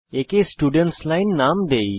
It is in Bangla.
একে স্টুডেন্টস লাইন নাম দেই